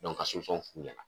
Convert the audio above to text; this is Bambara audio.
ka f'u ɲɛna